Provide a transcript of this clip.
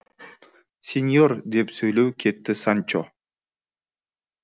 сеньор деп сөйлеу кетті санчо